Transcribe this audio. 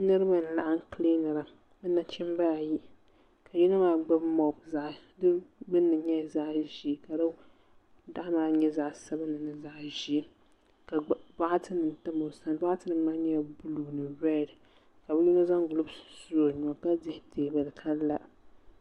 Niriba n laɣim kilinira bɛ nachimba ayi ka yino maa gbibi moob fi gbinni nyɛla zaɣa ʒee ka di daɣu maa nyɛ zaɣa sabinli ni zaɣa ʒee ka boɣati nima tam o sani boɣati nima maa nyɛla zaɣa buluu redi ka yino zaŋ gilofu su o nuu ka dihi teebuli ka la.